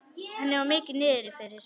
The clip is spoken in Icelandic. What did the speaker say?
Henni var mikið niðri fyrir.